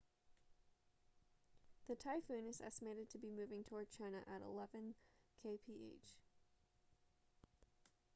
the typhoon is estimated to be moving toward china at eleven kph